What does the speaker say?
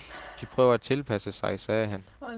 De prøver at tilpasse sig, sagde han.